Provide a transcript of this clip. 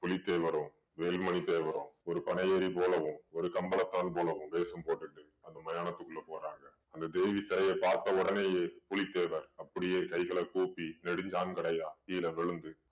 புலித்தேவரும் வேலுமணி தேவரும் ஒரு பனையேறி போலவும் ஒரு கம்பளத்தான் போலவும் வேஷம் போட்டுட்டு அந்த மயானத்துக்குள்ள போறாங்க அந்த தேவி சிலய பார்த்த உடனேயே புலித்தேவர் அப்படியே கைகளை கூப்பி நெடுஞ்சாண்கடையா கீழே விழுந்து